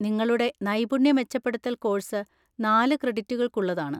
നിങ്ങളുടെ നൈപുണ്യ മെച്ചപ്പെടുത്തൽ കോഴ്സ് നാല് ക്രെഡിറ്റുകൾക്കുള്ളതാണ്.